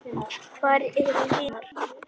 Hvar eru hinar?